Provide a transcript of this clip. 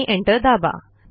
आणि एंटर दाबा